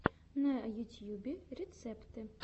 на ютьюбе рецепты